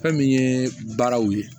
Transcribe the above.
Fɛn min ye baaraw ye